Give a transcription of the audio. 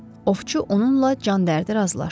Ovçu onunla can dərdi razılaşdı.